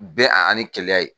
Bɛn ani kelenya ye